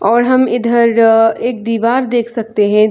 और हम इधर एक दीवार देख सकते हैं ।